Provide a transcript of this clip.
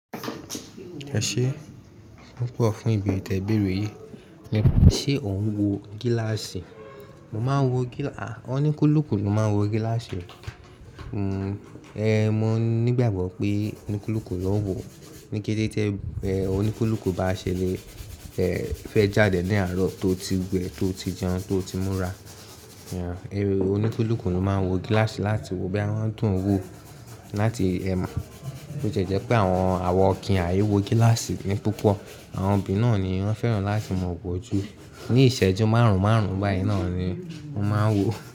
Ẹ ṣeé, púpọ̀ fún ìberre tí ẹ bèèrè yìí. Ṣé ò ń wo gíláàsì? Mo máa ń wo gílaa-- a, oníkulùku ló máa ń wo gíláàsì. Hmm, e, mó nígbàgbọ́ pé oníkulùku ló ń wo. Níkete tí ẹ, oníkulùku bá ṣe le, ẹ, fẹ́ jáde ní àárọ̀ tó o ti wẹ, tó o ti jẹun, tó o ti múra. E, oníkulùku ló máa ń wo gíláàsì láti wo bóyá wọ́n dùn un wò ó láti, ẹ mo, bi ó tie jẹ́ pé àwọn awa o kì n á ìwo gíláàsì ni púpọ̀. Àwọn obìnrin náà ni wọ́n fẹ́ràn láti mọ̀ ọwọ́ ju. Ní ìṣẹ́jú márùn-ún márùn-ún báyìí náà ni wọ́n máa ń wò ó.